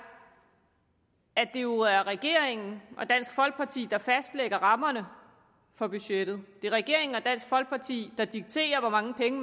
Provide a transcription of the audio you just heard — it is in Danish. at det jo er regeringen og dansk folkeparti der fastlægger rammerne for budgettet det er regeringen og dansk folkeparti der dikterer hvor mange penge